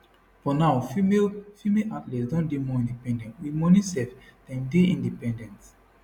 but now female female athletes don dey more independent wit money sef dem dey independent